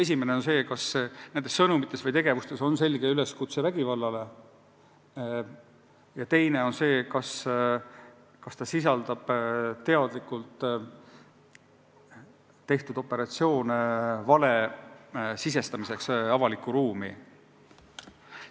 Esimene on see, et sõnumites või tegevuses on selge üleskutse vägivallale, ja teine on see, et tegevus sisaldab sihikindlalt ette võetud operatsioone vale sisestamiseks avalikku ruumi.